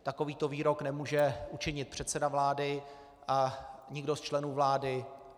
Takovýto výrok nemůže učinit předseda vlády a nikdo z členů vlády.